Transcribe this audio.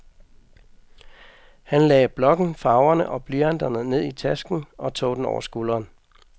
Han lagde blokken, farverne og blyanterne ned i tasken og tog den over skulderen.